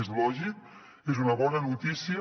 és lògic és una bona notícia